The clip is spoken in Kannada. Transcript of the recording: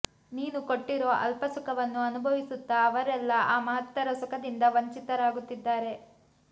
ನೀನು ಕೊಟ್ಟಿರೋ ಅಲ್ಪಸುಖವನ್ನು ಅನುಭವಿಸುತ್ತಾ ಅವರೆಲ್ಲ ಆ ಮಹತ್ತರ ಸುಖದಿಂದ ವಂಚಿತರಾಗುತ್ತಿದ್ದಾರೆ